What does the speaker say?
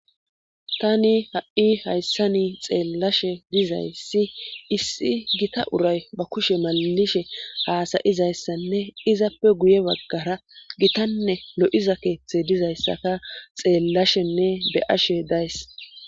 Tani ha'i hayssani xeellashe dizayssi issi gita uray ba kushe maalishe haasayizayssanne izappe guye baggara gitanne lo'iza keeththe dizayssaka xeellashenne be ashe days.